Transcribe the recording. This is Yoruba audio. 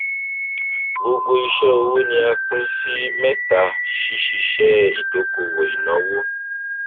gbogbo iṣẹòwò ni a pín sí mẹta ṣíṣiṣẹ ìdókòwò ìnáwó